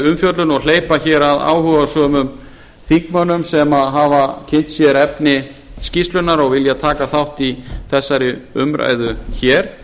og hleypa hér að áhugasömum þingmönnum sem hafa kynnt sér efni skýrslunnar og vilja taka þátt í þessari umræðu hér